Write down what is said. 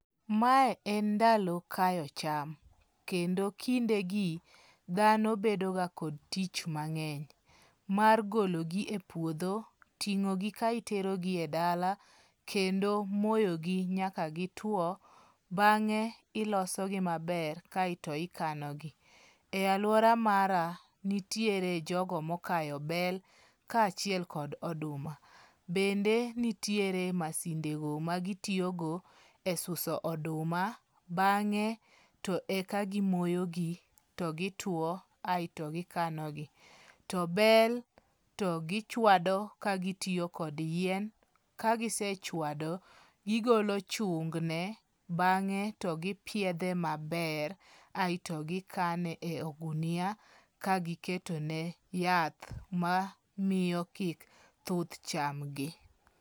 Mae en ndalo kayo cham, kendo kindegi dhano bedoga kod tich mang'eny. Mar gologi e puodho, ting'ogi ka iterogi e dala, kendo moyo gi nyaka gitwo. Bang'e ilosogi maber kaeto ikanogi. E aluora mara, nitiere jogo mokayo bel, kaachiel kod oduma. Bende nitie masindego magitiyogo e suso oduma, bang'e to eka gimoyo gi, to gituo aeto gikanogi. To bel to gichwado ka gitiyo kod yien, kagise chwado gigolo chung ne, bang'e to gipiedhe maber aeto gikane e ogunia ka giketo ne yath mamiyo kik thuth cham gi.